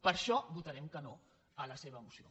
per això votarem que no a la seva moció